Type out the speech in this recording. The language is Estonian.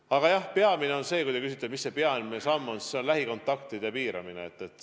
Aga jah, peamine – kui te küsite, mis see peamine samm on – on lähikontaktide piiramine.